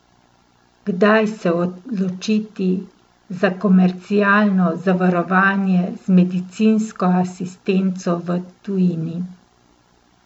Kdaj se odločiti za komercialno zavarovanje z medicinsko asistenco v tujini?